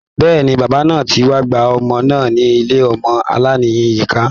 Bẹ́ẹ̀ni, bàbá náà ti wá gba ọmọ náà ní ilé ọmọ aláìnìyá.